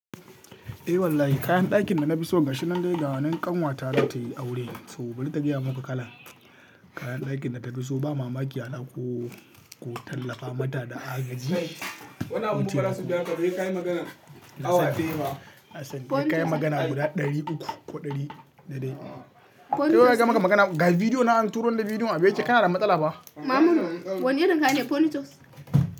Eh wallahi kayan ɗakin da na fi so gashi nan dai ganan ƙanwata za ta yi aure, to bari ta gaya mu ku kalan. Kayan ɗakin da na fi so ba mama kiya na ko tallafa mata da agaji. Wannan abun fara su biya ka, wai ka yi magana awa ɗaya fa. Hassan, sai ka yi magana guda ɗari uku ko ɗari dade. To wai ka yi maka magana, ga bidiyo na an turo da bidiyo a bace kana da matsala ba? Mamuno, wane irin kaya ne Ponitos?